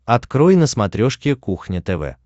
открой на смотрешке кухня тв